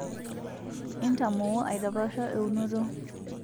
intamoo aitapaasha eunoto